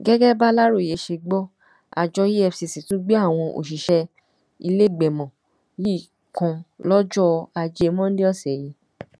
gẹgẹ bàlàròyé ṣe gbọ àjọ efcc tún gbé àwọn òṣìṣẹ ìlẹgbẹmọ yìí kan lọjọ ajé monde ọsẹ yìí